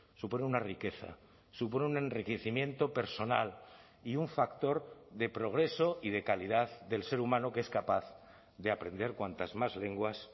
supone una riqueza supone un enriquecimiento personal y un factor de progreso y de calidad del ser humano que es capaz de aprender cuantas más lenguas